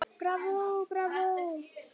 Bravó, bravó